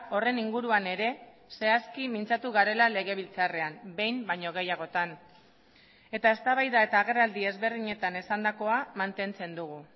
horren inguruan ere zehazki mintzatu garela legebiltzarrean behin baino gehiagotan eta eztabaida eta agerraldi ezberdinetan esandakoa mantentzen dugu